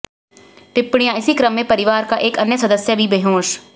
टिप्पणिया इसी क्रम में परिवार का एक अन्य सदस्य भी बेहोश